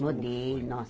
Mudei.